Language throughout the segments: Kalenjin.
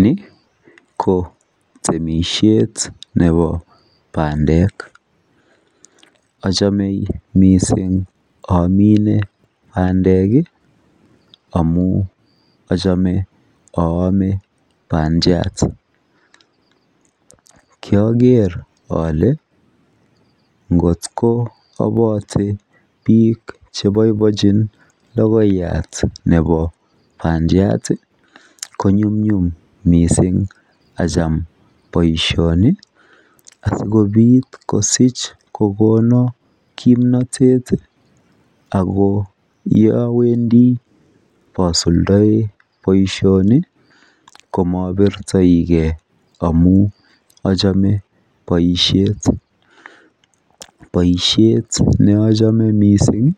Nii ko temishet nebo pandek, ochome missing imine pandek kii amun ochome oome pandiat. kioger ole ngotko obote bik cheboiboichin lokoiyat nebo pandiat tii ko nyumnyum missing achame boishoni asikopit kosich kokonin kimnotet tii ako yowendii posuldoi boishoni komobirtogee amun ochome boishet. Boishet neochome missing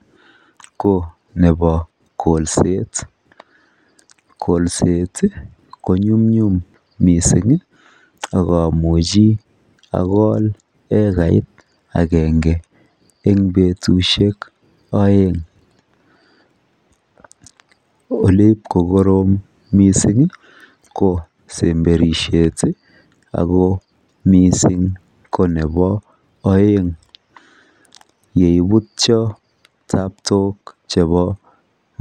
ko nebo kolset, kolset konyumnyum missingi ak omuchi akole ekarit agenge en betushek oeng ole ibkokorom missingi ko semberishet tii ako missing ko nebo oeng yeibutyo taptok chebo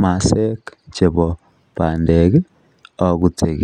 masaek chebo pandeki obute.